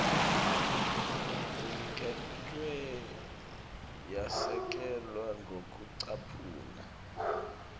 iniketwe yasekelwa ngekucaphuna